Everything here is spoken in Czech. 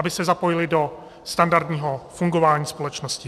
Aby se zapojili do standardního fungování společnosti.